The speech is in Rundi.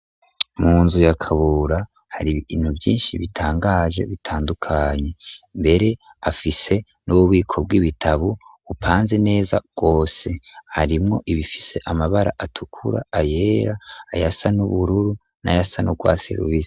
Mu nzu ya Kabura, hari ibintu vyinshi, bitangaje, bitandukanye; mbere, afise n'ububiko bw'ibitabo, bupanze neza rwose; harimwo ibifise, amabara atukura, ayera, ayasa n'ubururu, n'ayasa n'urwatsi rubisi.